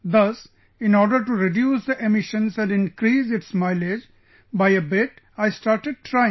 Thus, in order to reduce the emissions and increase its mileage by a bit, I started trying